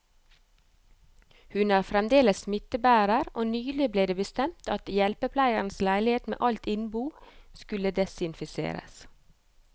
Hun er fremdeles smittebærer, og nylig ble det bestemt at hjelpepleierens leilighet med alt innbo skulle desinfiseres.